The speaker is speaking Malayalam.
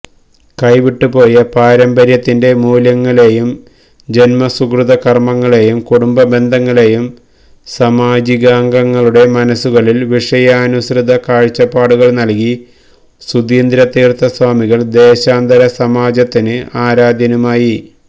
കൈവിട്ടുപോയ പാരമ്പര്യത്തിന്റെ മൂല്യങ്ങളെയും ജന്മസുകൃതകര്മ്മങ്ങളെയും കുടുംബബന്ധങ്ങളെയും സമാജികാംഗങ്ങളുടെ മനസ്സുകളില് വിഷയാനുസൃത കാഴ്ചപ്പാടുകള് നല്കി സുധീന്ദ്രതീര്ത്ഥസ്വാമികള് ദേശാന്തര സമാജത്തിന് ആരാധ്യനുമായി